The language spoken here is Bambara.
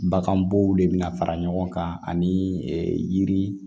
Baganbow de be na fara ɲɔgɔn kan ani yiri